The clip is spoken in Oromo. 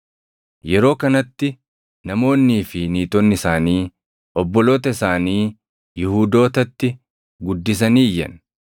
Yeroo kanatti namoonnii fi niitonni isaanii obboloota isaanii Yihuudootatti guddisanii iyyan.